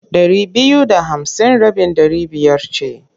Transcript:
Ɗari biyu da hamsin rabin ɗari biyar ce.